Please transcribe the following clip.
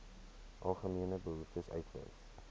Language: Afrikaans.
algemene behoeftes uitwys